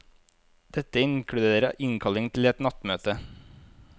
Dette inkluderer innkalling til et nattmøte.